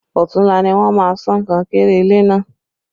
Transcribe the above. Ọ̀tunla ni wọ́n máa sán kankéré ilé náà